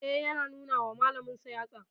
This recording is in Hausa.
E, yana nuna wa malaminsa yatsa.